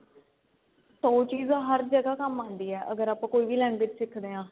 ਤਾਂ ਉਹ ਚੀਜ ਹਰ ਜਗ੍ਹਾ ਕੰਮ ਆਂਦੀ ਏ ਅਗਰ ਆਪਾਂ ਕੋਈ ਵੀ language ਸਿਖਦੇ ਆ